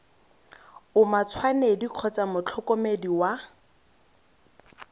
o matshwanedi kgotsa motlhokomedi wa